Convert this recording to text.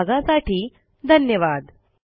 सहभागासाठी धन्यवाद